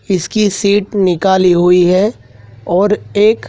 इसकी सीट निकाली हुई है और एक--